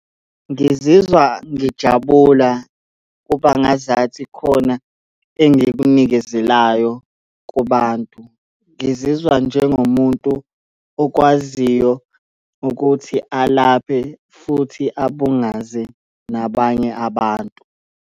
Ngizizwa ngijabula, kuba ngazathi khona engikunikezelayo kubantu. Ngizizwa njengomuntu okwaziyo ukuthi alaphe futhi abungaze nabanye abantu.